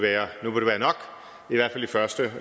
første